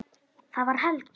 Það var Helga!